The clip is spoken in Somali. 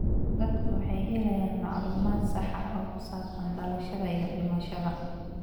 Dadku waxay helayaan macluumaad sax ah oo ku saabsan dhalashada iyo dhimashada.